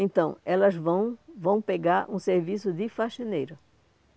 Então, elas vão, vão pegar um serviço de faxineira.